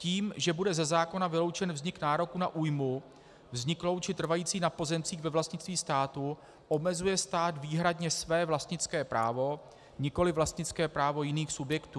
Tím, že bude ze zákona vyloučen vznik nároku na újmu vzniklou či trvající na pozemcích ve vlastnictví státu, omezuje stát výhradně své vlastnické právo, nikoliv vlastnické právo jiných subjektů.